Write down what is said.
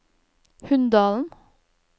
Hunndalen